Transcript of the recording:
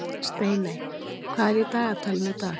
Steiney, hvað er í dagatalinu í dag?